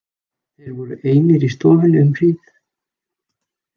Þeir voru einir í stofunni um hríð.